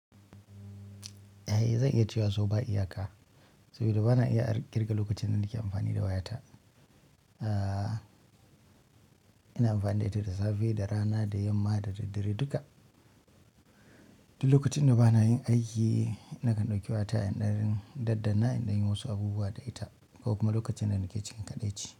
Eh, zan iya cewa so ba iyaka, saboda ba na iya kirga lokucin da nake amfani da wayata. Ina amfani da ita da safe, da rana, da yamma, da daddare duka. Duk lokacin da ba na yin aiki, nakan ɗauki wayata in dan daddanna in dai yi wasu abubuwa da ita ko kuma lokacin da nake cikin kaɗaici.